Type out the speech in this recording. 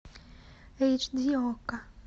эйч ди окко